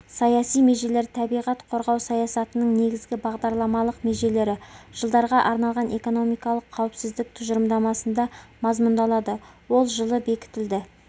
саяси межелер табиғат қорғау саясатының негізгі бағдарламалық межелері жылдарға арналған экономикалық қауіпсіздік тұжырымдамасында мазмұндалады ол жылы бекітілді